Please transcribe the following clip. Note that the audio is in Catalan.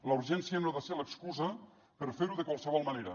la urgència no ha de ser l’excusa per fer ho de qualsevol manera